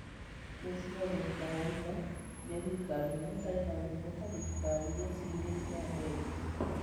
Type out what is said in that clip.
Gĩchigo North Carolina nĩ thirikari ĩmwe ĩtarĩ na ngumo ta thirikari iria ingĩ cia Amerika.